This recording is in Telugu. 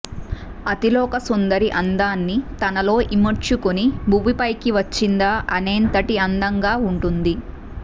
అతిలోక సుందరి అందాన్ని తనలో ఇముడ్చుకొని భువిపైకి వచ్చిందా అనెంతటి అందంగా ఉంటుంది